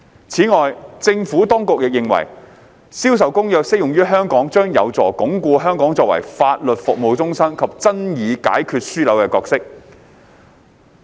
此外，政府當局亦認為《銷售公約》適用於香港，將有助鞏固香港作為法律服務中心及爭議解決樞紐的角色。